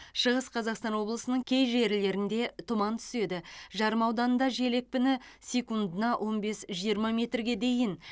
шығыс қазақстан облысының кей жерлерінде тұман түседі жарма ауданында жел екпіні секундына он бес жиырма метрге дейін